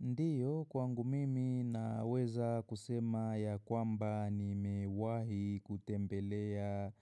Ndiyo, kwangu mimi naweza kusema ya kwamba nimewahi kutembelea